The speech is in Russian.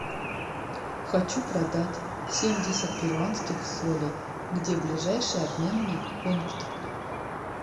хочу продать семьдесят перуанских солей где ближайший обменный пункт